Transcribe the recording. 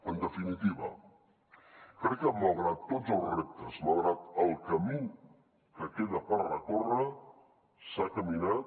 en definitiva crec que malgrat tots els reptes malgrat el camí que queda per recórrer s’ha caminat